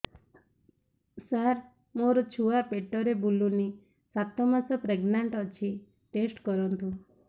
ସାର ମୋର ଛୁଆ ପେଟରେ ବୁଲୁନି ସାତ ମାସ ପ୍ରେଗନାଂଟ ଅଛି ଟେଷ୍ଟ କରନ୍ତୁ